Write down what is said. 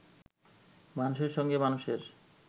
মানুষের সঙ্গে মানুষের